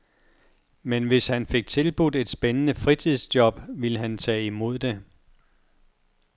Men hvis han fik tilbudt et spændende fritidsjob, ville han tage imod det.